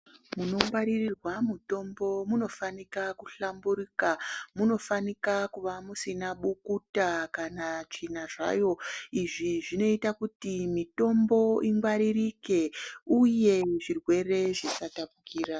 Munongwaririrwa mutombo munofanika kuhlamburuka, munofanika kuva musina bukuta kana tsvina zvayo, izvi zvinoita kuti mitombo ingwaririke uye zvirwere zvisatapukira.